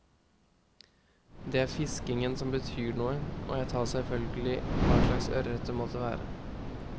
Det er fiskingen som betyr noe, og jeg tar selvfølgelig hva slags ørret det måtte være.